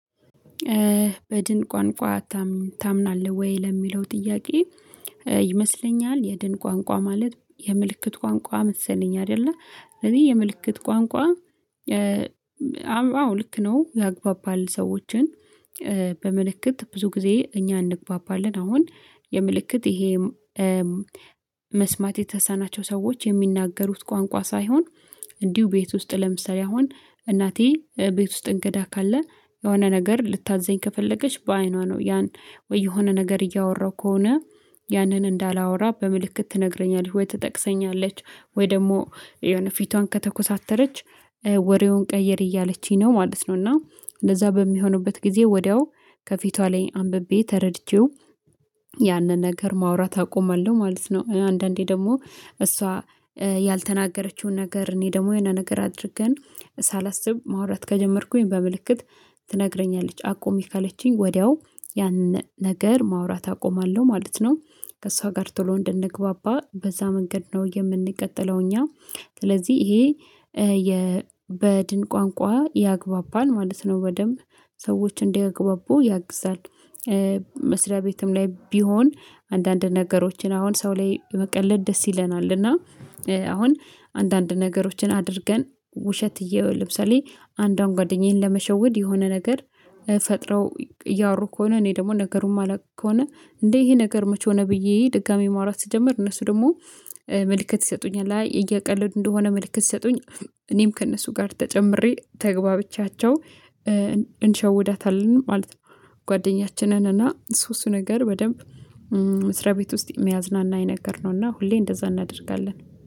በድን ቋንቋ ታምናለህ ወይ ለሚለው ጥያቄ? ይመስለኛል የድን ቋንቋ ማለት የምልክት ቋንቋ መሰለኝ አይደለ እኔ የምልክት ቋንቋ አዎ ልክ ነው ያግባባል ሰዎችን። በምልክት ብዙ ጊዜ እኛ እንግባባለን አሁን የምልክት ይሄ መስማት የተሰናቸው ሰዎች የሚናገሩት ቋንቋ ሳይሆን። እንዲሁ ቤት ውስጥ ለምሳሌ አሁን እናቴ ቤት ውስጥ እንግዳ ካለ የሆነ ነገር ልታዘኝ ከፈለገች በአይኗ ነው ያን ወይ የሆነ ነገር እያወራሁ ከሆነ ያንን እንዳላወራ በምልክት ትነግረኛለህ ወይ ትጠቅሰኛለች ወይ ደግሞ የሆነ ፊቷን ከተኮሳተረች ወሬውን ቀይር እያለችኝ ነው ማለት ነው። እና እንደዛ በሚሆንበት ጊዜ ወዲያው ከፊቷ ላይ አንብቤ ተረድቼው ያንን ነገር ማውራት አቆማለሁ ማለት ነው። አንዳንዴ ደግሞ እሷ ያልተናገረችውን ነገር እኔ ደግሞ የኔን ነገር አድርገን ሳላስብ ማውራት ከጀመርኩኝ በምልክት ትነግረኛለች አቆሜ ካለችኝ ወዲያው ያንን ነገር ማውራት አቆማለሁ ማለት ነው። ከእሷ ጋር ቶሎ እንደነግባባ በዛ መንገድ ነው የምንቀጥለው እኛ ስለዚህ ይሄ የ በድን ቋንቋ ያግባባል ማለት ነው በደንብ ሰዎችን እንዲያግባቡ ያግዛል። መስሪያ ቤትም ላይ ቢሆን አንዳንድ ነገሮችን አሁን ሰው ላይ መቀለድ ደስ ይለናል እና አሁን አንዳንድ ነገሮችን አድርገን ውሸት እየወል ለምሳሌ አንዷን ጓደኛዬን ለመሸወድ የሆነ ነገር ፈጥረው እያወሩ ከሆነ እኔ ደግሞ ነገሩን ማላውቅ ከሆነ እንዴ ይሄ ነገር መቼ ሆነ ብዬ ድጋሚ ማውራት ስጀምር እነሱ ደግሞ መልእክት ይሰጡኛል እያቀለዱ እንደሆነ መልእክት ይሰጡኛል። እኔም ከእነሱ ጋር ተጨምሬ ተግባብቻቸው እንሸውዳታለን ማለት ነው። ጓደኛችንን እና እሱ እሱ ነገር በደንብ መስሪያቤት ውስጥ የሚያዝናና የነገርነው እና ሁሌ እንደዛ እናደርጋለን